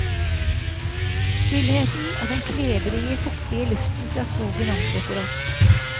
Stillheten og den klebrige, fuktige luften fra skogen omslutter oss.